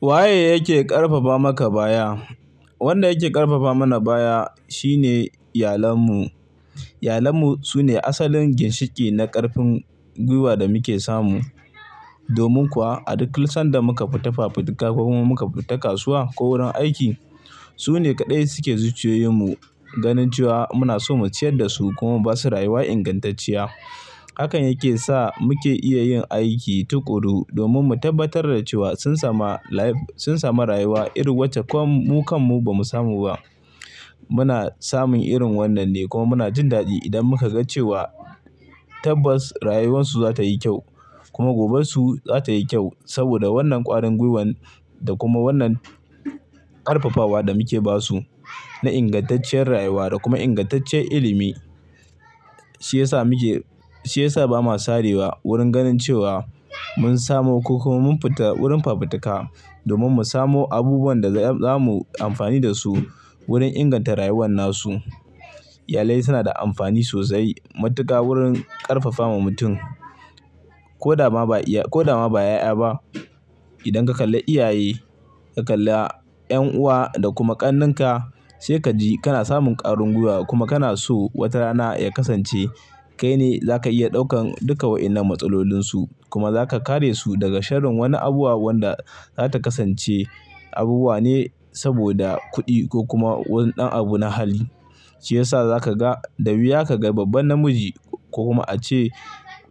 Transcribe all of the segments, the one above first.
Waye yake ƙarfafa maka baya? Wanda yake ƙarfafa mana baya shine iyalan mu. Iyalan mu sune asalin ginshiƙi na ƙarfin gwiwa da muke samu. Domin kuwa a duk sanda muka fita fafutuka, ko kuma muka fita kasuwa ko wurin aiki, su ne kaɗai suke zuciyoyin mu, ganin cewa muna so mu ciyar da su kuma ba su rayuwa ingantacciya. Hakan yake sa muke iya yin aiki tuƙuru domin mu tabbatar da cewa sun sama. Sun samu rayuwa irin wacce ko mu kan mu ba mu samu ba. Muna samun irin wannan ne kuma muna jin daɗi idan muka ga cewa Tabbas rayuwarsu za ta yi kyau kuma goben su za ta yi kyau saboda wannan ƙwarin gwiwan da kuma wannan ƙarfafawa da muke ba su na ingantacciyar rayuwa da kuma ingantaccen ilimi. Shi ya sa ba ma sarewa wurin ganin cewa mun samu ko kuma mun fita wurin fafutuka. Domin mu samo abubuwan da za mu amfani da su wurin inganta rayuwan nasu. Iyali suna da amfani sosai matuƙa wurin ƙarfafa ma mutum, ko da ma ba ƴaƴa ba. Idan ka kalla iyaye, ka kalla ƴan uwa da kuma ƙannenka, sai ka ji kana samun ƙarin gwuiwa kuma kana so wata rana ya kasance kai ne za ka iya ɗaukan duka waƴannan matsalolinsu. Kuma za ka kare su daga sharin wani abubuwa wanda da za ta kasance abubuwa ne saboda kuɗi ko kuma wani ɗan abu na hali. Shi ya sa za ka ga da wuya ka ga babban namiji ko kuma a ce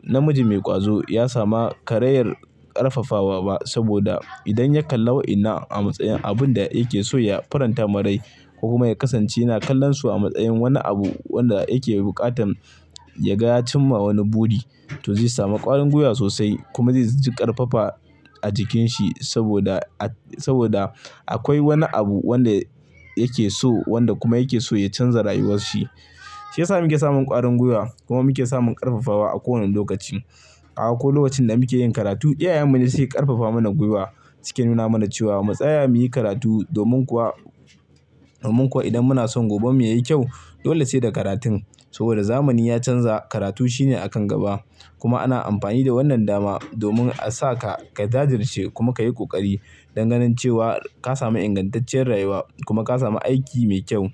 namiji mai ƙwazo ya samu karayar ƙarfafawa ba saboda idan ya kalla waƴannan a matsayin abun da yake so ya faranta ma rai. Ko kuma ya kasance yana kallon su a matsayin wani abu wanda yake buƙatan ya ga ya cimma wani buri, to zai samu ƙwarin gwuiwa sosai kuma zai ji ƙarfafa a jikin shi saboda. Saboda akwai wani abu wanda yake so, wanda kuma yake so ya canza rayuwarshi. Shi ya sa muke samun ƙwarin gwiwa kuma muke samun ƙarfafawa a kowanne lokaci. A ko lokacin da muke yin karatu, iyayen mu ne suke ƙarfafa mana gwuiwa. Suke nuna mana cewa matsa ya muyi karatu domin kuwa. Domin ko idan muna son goben mu yayi kyau, dole sai da karatun saboda zamani ya canza, karatu shine a kan gaba. Kuma ana amfani da wannan dama domin a sa ka ka jajirce kuma ka yi ƙoƙari dan ganin cewa ka sami ingantacciyar rayuwa kuma ka sami aiki mai kyau.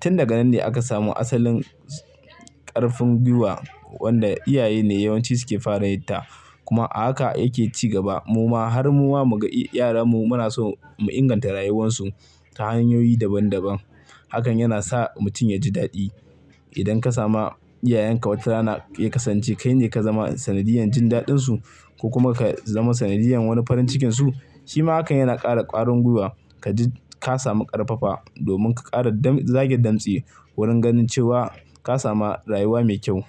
Tin daga nan ne aka samo asalin ƙarfin gwuiwa wanda iyaye ne yawanci suke fara yin ta. Kuma a haka yake ci gaba. Muma har muma mu ga yaran mu muna so mu inganta rayuwarsu ta hanyoyi daban daban. Hakan yana sa mutum ya ji daɗi. Idan ka sa ma iyayenka wata rana ya kasance kai ne ka zama sanadiyyan jin daɗinsu ko kuma ka zama sanadiyyan wani farin cikinsu, shi ma hakan yana ƙara ƙwarin gwuiwa. Ka ji ka samu ƙarfafa domin ka ƙara zage damtsi wurin ganin cewa ka samu rayuwa mai kyau.